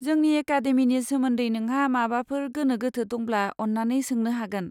जोंनि एकादेमिनि सोमोन्दै नोंहा माबाफोर गोनो गोथो दंब्ला, अन्नानै सोंनो हागोन।